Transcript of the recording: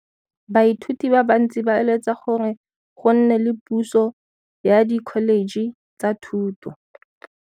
Baithuti ba bantsi ba eletsa gore go nne le puso ya Dkholetšhe tsa Thuto.